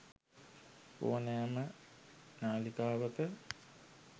ඔනෑම නාලිකාවක